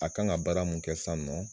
A kan ka baara mun kɛ san nɔ